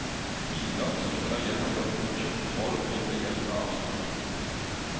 Biler som ikke har gjennomført godkjent kontroll blir begjært avskiltet.